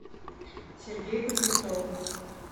сергей кузнецов